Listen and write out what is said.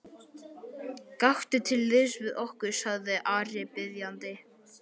Gakktu til liðs við okkur, sagði Ari biðjandi.